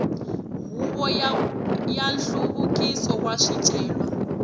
huvo ya nhluvukiso wa swicelwa